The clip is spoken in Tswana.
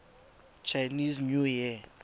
chinese new year